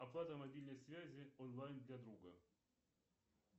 оплата мобильной связи онлайн для друга